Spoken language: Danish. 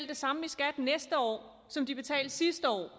det samme i skat næste år som de betalte sidste år